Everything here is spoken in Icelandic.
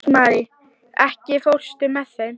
Rósmarý, ekki fórstu með þeim?